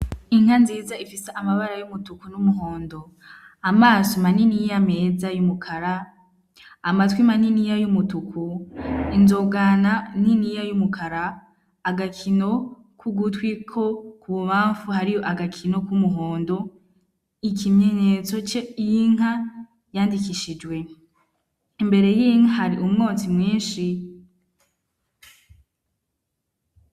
Inka nziza ifisa amabara y'umutuku n'umuhondo amaso manini yo ameza y'umukara amatwi manini ya y'umutuku inzogana niniya y'umukara agakino k'ugutwiko ku bumamfu hari yo agakino kw'umuhondo ikimyenyetso ce inkaa andikishijwe imbere y'inke hari umwotsi mwinshi.